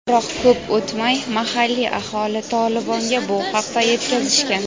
biroq ko‘p o‘tmay mahalliy aholi "Tolibon"ga bu haqda yetkazishgan.